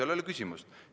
Seal ei ole küsimustki.